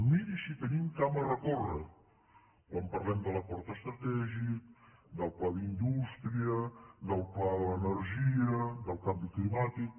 miri si tenim camp a recórrer quan parlem de l’acord estratègic del pla d’indústria del pla de l’energia del canvi climàtic